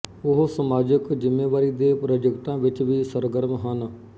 ਉਹ ਸਮਾਜਿਕ ਜ਼ਿੰਮੇਵਾਰੀ ਦੇ ਪ੍ਰਾਜੈਕਟਾਂ ਵਿੱਚ ਵੀ ਸਰਗਰਮ ਹਨ